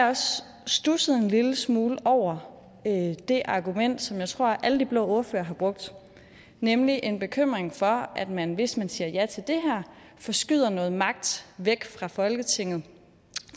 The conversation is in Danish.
også studset en lille smule over det argument som jeg tror alle de blå ordførere har brugt nemlig en bekymring for at man hvis man siger ja til det her forskyder noget magt væk fra folketinget